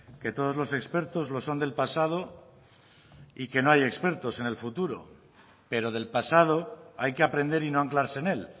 que todos los expertos los son del pasado y que no hay expertos en el futuro pero del pasado hay que aprender y no anclarse en él